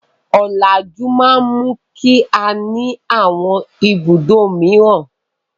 Ọ̀làjú máa mú kí á ní àwọn ibùdó mìíràn.